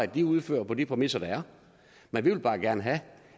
de udfører på de præmisser der er men vi vil bare gerne have